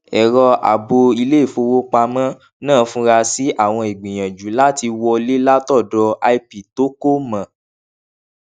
ẹrọ àbò iléìfowópamọ náà fura sí àwọn ìgbìyànjú láti wọlé látọdọ ip tó kò mọ